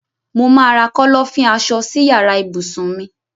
Mo má ra Kọ́lọ́fín aṣọ si yàrá ibùsùn mi